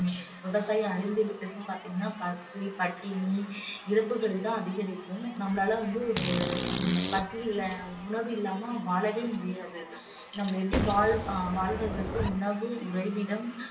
விவசாயம் அழிந்து விட்டது பாத்தீங்கன்னா பசி பட்டினி இறப்புகள் தான் அதிகரிக்கும் நம்மளால வந்து ஒரு பசில உணவில்லாத வாழவே முடியாது நம்ம எப்படி வாழ்~ வாழ்வதற்கு உணவு, உறைவிடம்